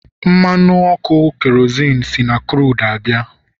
mmanụ ọkụ kerozinu si na crudu abịa